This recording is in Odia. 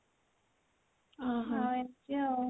ଏମିତି ଆଉ